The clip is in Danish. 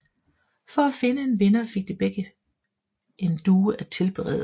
For at finde en vinder fik de begge fik en due at tilberede